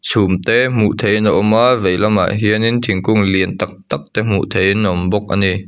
chhum te hmuh theihin a awm a vei lamah hian in thingkung lian tak tak te hmuh theihin a awm bawk a ni.